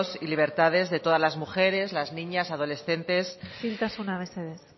y libertades de todas las mujeres las niñas adolescentes jóvenes y adultas isiltasuna mesedez